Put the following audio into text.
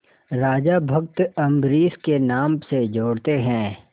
राजा भक्त अम्बरीश के नाम से जोड़ते हैं